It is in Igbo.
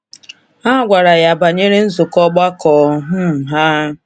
Ha gwara ya banyere nzukọ ọgbakọ um ha.